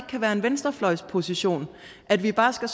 kan være en venstrefløjsposition at vi bare skal